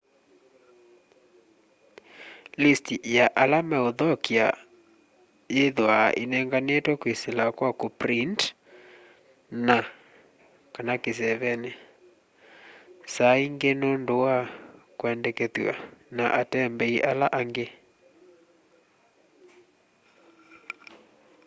list ya ala mauthokya yithwaa inenganitwe kwisila kwa kuprint na/kana kiseeveni saa ingi nundu wa kwendekethw'a ni atembei ala angi